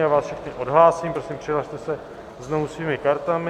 Já vás všechny odhlásím, prosím přihlaste se znovu svými kartami.